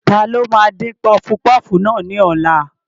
Ta ló máa dín pọfupọ́ọ̀fù náà ní ọ̀la?